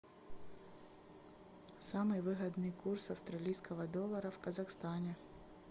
самый выгодный курс австралийского доллара в казахстане